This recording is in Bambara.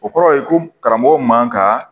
O kɔrɔ ye ko karamɔgɔ man ka